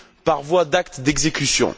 par voie d'acte d'exécution.